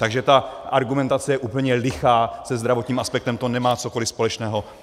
Takže ta argumentace je úplně lichá, se zdravotním aspektem to nemá cokoliv společného.